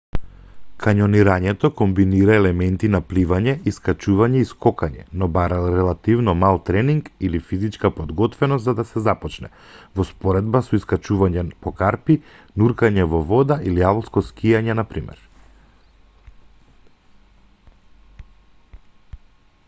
кањонирањето комбинира елементи на пливање искачување и скокање -- но бара релативно мал тренинг или физичка подготвеност за да се започне во споредба со искачување по карпи нуркање во вода или алпско скијање на пример